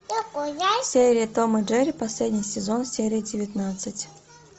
серия том и джерри последний сезон серия девятнадцать